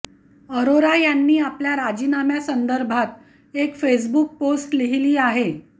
अरोरा यांनी आपल्या राजीनाम्यासंदर्भात एक फेसबुक पोस्ट लिहीली आहे